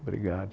Obrigado.